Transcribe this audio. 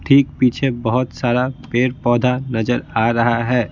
ठीक पीछे बहुत सारा पेड़-पौधा नजर आ रहा है।